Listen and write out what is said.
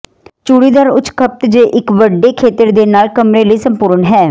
ਚੂੜੀਦਾਰ ਉੱਚ ਖਪਤ ਜ ਇੱਕ ਵੱਡੇ ਖੇਤਰ ਦੇ ਨਾਲ ਕਮਰੇ ਲਈ ਸੰਪੂਰਣ ਹੈ